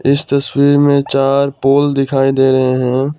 इस तस्वीर में चार पोल दिखाई दे रहे हैं।